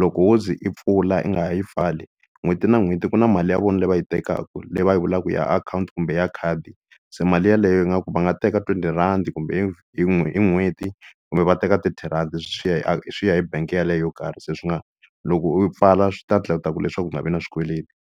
loko wo ze i pfula i nga ha yi pfali n'hweti na n'hweti ku na mali ya vona leyi va yi tekaka leyi va yi vulaka ya akhawunti kumbe ya khadi se mali yeleyo yi nga ku va nga teka twenty rhandi kumbe hi hi n'hweti kumbe va teka thirty rhandi swi ya hi swi ya hi bank yeleyo yo karhi se swi nga loko u pfala swi ta endla ku leswaku u nga vi na swikweleti.